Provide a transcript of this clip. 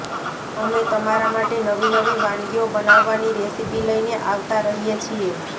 અમે તમારા માટે નવી નવી વાનગીઓ બનાવવાની રેસિપી લઈને આવતા રહીએ છીએ